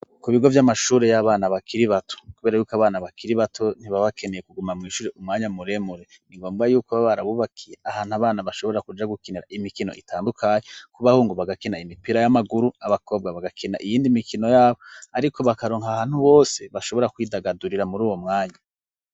Ku bigo vy'amashure y'abana bakiri bato, kubera yuko abana bakiri bato ntibabakeneye kuguma mw'ishure umwanya muremure ingombwa yuko ba barabubakiye ahantu abana bashobora kuja gukinira imikino itandukanye kubahungu bagakena imipira y'amaguru abakobwa bagakena iyindi mikino yabo, ariko bakaronka ahantu bose bashobora kwidagadurira muri uwo mwanya.